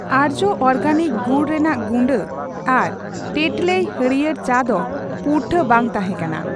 ᱟᱨᱡᱚ ᱚᱨᱜᱮᱱᱤᱠ ᱜᱩᱲ ᱨᱮᱱᱟᱜ ᱜᱩᱰᱟᱹ ᱟᱨ ᱴᱮᱴᱞᱮᱭ ᱦᱟᱹᱲᱭᱟᱹᱨ ᱪᱟ ᱰᱚ ᱯᱩᱨᱴᱷᱟᱹ ᱵᱟᱝ ᱛᱟᱦᱮᱸᱠᱟᱱᱟ ᱾